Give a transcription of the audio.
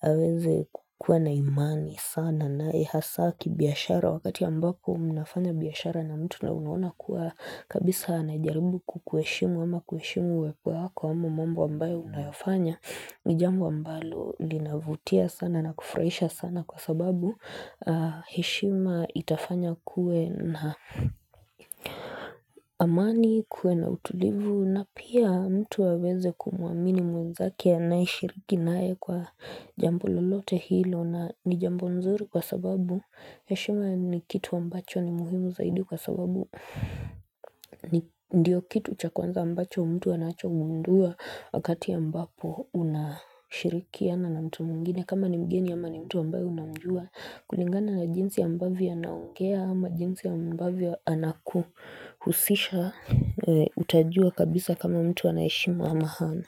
aweze kukuwa na imani sana, na ni hasaa kibiashara wakati ambapo mnafanya biashara na mtu na unauona kuwa kabisa anajaribu kukuheshimu ama kuheshimu mambo ambayo unayofanya ni jambo ambalo linavutia sana na kufurahisha sana kwa sababu heshima itafanya kuwe na amani, kuwe na utulivu, na pia mtu aweze kumuamini mwenzake anayeshiriki naye kwa jambo lolote hilo na ni jambo zuri kwa sababu, heshima ni kitu ambacho ni muhimu zaidi kwa sababu ndiyo kitu cha kwanza ambacho mtu anachogundua wakati ambapo unashirikiana na mtu mwengine kama ni mgeni ama ni mtu ambayo unamjua kulingana na jinsi ambavyo anaongea ama jinsi ambavyo anakuhusisha Utajua kabisa kama mtu ana heshima ama hana.